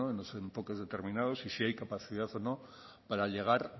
no en los enfoques determinados y si hay capacidad o no para llegar